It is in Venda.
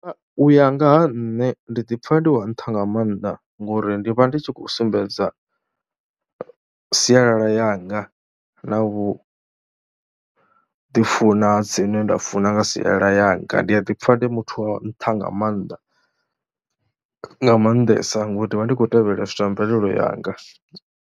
U ya nga ha nṋe ndi ḓi pfha ndi wa nṱha nga maanḓa ngori ndi vha ndi tshi khou sumbedza sialala yanga na vhu ḓifuna dzine nda funa nga sialala yanga. Ndi a ḓi pfha ndi muthu wa nṱha nga maanḓa, nga maanḓesa ngori ndi vha ndi khou tevhelela zwithu zwa mvelelo yanga.